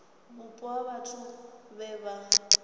vhupo ha vhathu vhe vha